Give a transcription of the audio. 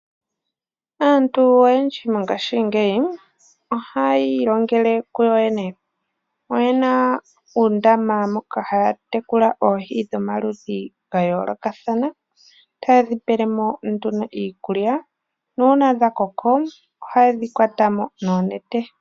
Aantu oyendji mongashingeyi ohaya ilongele kuyoyene. Oyena uundama moka haya tekula oohi dhomaludhi gayoolokathana. Ohaye dhi pelemo nduno iikulya, nuuna dhakoko ohaye dhi kwatamo noonete.